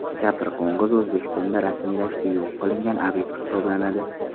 Kapr qo‘ng‘izi O‘zbekistonda rasmiy ravishda yo‘q qilingan obyekt hisoblanadi.